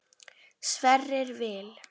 Sverrir Vil.